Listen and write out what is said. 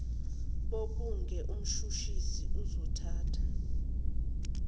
bobuge mshushisi uzothatha